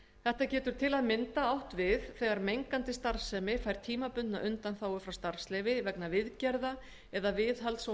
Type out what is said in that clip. þetta getur til að mynda átt við þegar mengandi starfsemi fær tímabundna undanþágu frá starfsleyfi vegna viðgerða eða viðhalds á